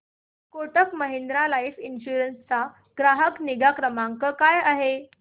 Kotak Mahindra life insurance चा ग्राहक निगा क्रमांक काय आहे